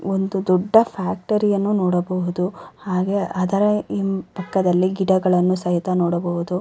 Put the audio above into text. ಒಂದು ದೊಡ್ಡ ಫ್ಯಾಕ್ಟರಿಯನ್ನು ನೋಡಬಹುದು ಹಾಗೆ ಅದರ ಹಿ ಪಕ್ಕದಲ್ಲಿ ಗಿಡಗಳನ್ನು ಸಹಿತ ನೋಡಬಹುದು.